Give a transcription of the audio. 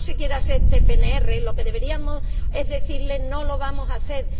si no se quiere hacer este PNR, lo que deberíamos es decirles que no lo vamos a hacer.